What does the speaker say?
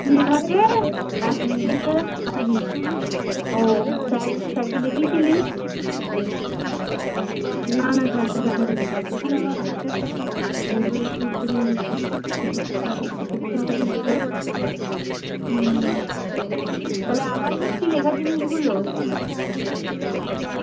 তাহলে আবার লিখছিলিস লেখা জিনিস গুলো